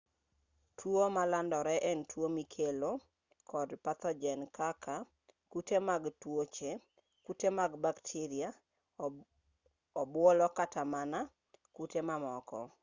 tuo malandore en tuo mikelo kod pathojen kaka kute mag tuoche kute mag bakteria obuolo kata mana kute mamoko